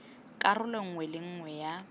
karolo nngwe le nngwe ya